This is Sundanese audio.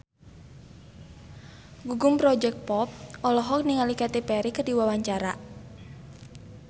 Gugum Project Pop olohok ningali Katy Perry keur diwawancara